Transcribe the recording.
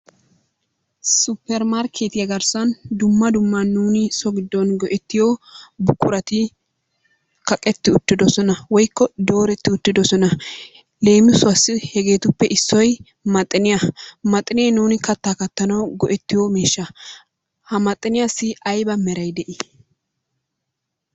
Super markettiyaa garsan dumma dumma nu so gidon go'ettiyo buquratti kaqetti uttidosonnaa woyko doretti ittidosonnaa lemisuwassi hegetippe issoy maxiniyaa, maxinne nuni kata kattanawu go'ettiyo mishaa ha maxiniyasi ayba meray de'i?